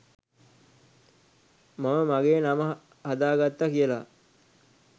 මම මගේ නම හදා ගත්තා කියලා.